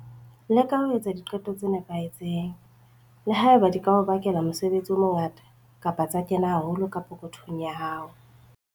Leka ho etsa diqeto tse nepahetseng, le ha eba di ka o bakela mosebetsi o mongata kapa tsa kena haholo ka pokothong ya hao.